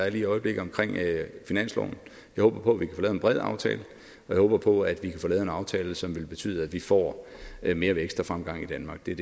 i øjeblikket jeg håber på at vi kan en bred aftale og jeg håber på at vi kan få lavet en aftale som vil betyde at vi får mere vækst og fremgang i danmark det er